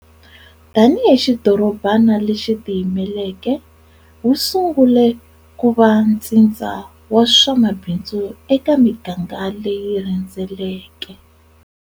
Tani hi xidorobana lexi tiyimeleke, wu sungule ku va ntsindza wa swa mabindzu eka miganga leyi rhendzeleke.